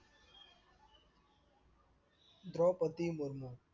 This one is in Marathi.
द्रौपदी मुर्मू